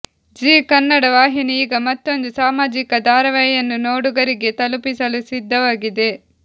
ಜೀ ಕನ್ನಡ ವಾಹಿನಿ ಈಗ ಮತ್ತೊಂದು ಸಾಮಾಜಿಕ ಧಾರಾವಾಹಿಯನ್ನು ನೋಡುಗರಿಗೆ ತಲುಪಿಸಲು ಸಿದ್ಧವಾಗಿದೆ